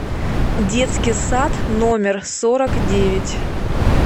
детский сад номер сорок девять